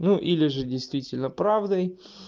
ну или же действительно правдой